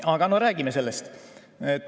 Aga räägime sellest.